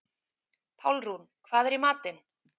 Pálrún, hvað er í matinn?